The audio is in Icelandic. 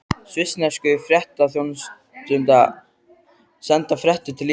Svissnesku fréttaþjónustuna, senda fréttir til Íslands.